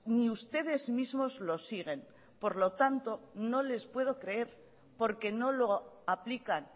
ni ustedes mismos lo siguen por lo tanto no les puedo creer porque no lo aplican